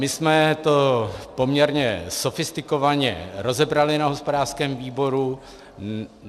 My jsme to poměrně sofistikovaně rozebrali na hospodářském výboru.